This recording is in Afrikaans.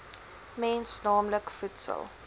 mens naamlik voedsel